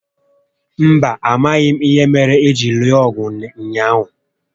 Mba, amaghị m ìhè méré hà jiri lụọ ọgụ ụnyaahụ